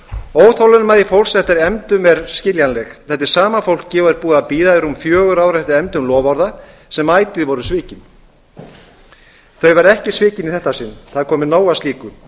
óþolinmæði fólks eftir efndum er skiljanleg þetta er sama fólkið og er búið að bíða í rúm fjögur ár eftir efndum loforða sem ætíð voru svikin þau verða ekki svikin í þetta sinn það er komið nóg af slíku